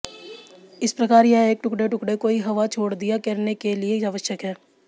इस प्रकार यह एक टुकड़े टुकड़े कोई हवा छोड़ दिया करने के लिए आवश्यक है